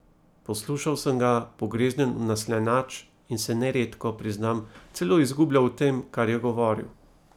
Poslušal sem ga pogreznjen v naslanjač in se neredko, priznam, celo izgubljal v tem, kar je govoril.